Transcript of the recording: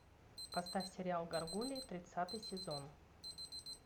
поставь сериал гаргульи тридцатый сезон